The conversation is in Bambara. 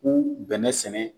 U bɛnɛ sɛnɛ